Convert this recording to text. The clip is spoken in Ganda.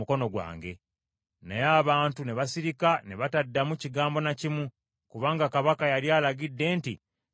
Naye abantu ne basirika ne bataddamu kigambo na kimu, kubanga kabaka yali alagidde nti, “Temumuddamu.”